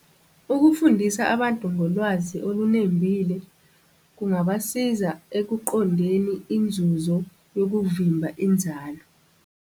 Ukufundisa abantu ngolwazi olunembile, kungabasiza ekuqondeni inzuzo yokuvimba inzalo.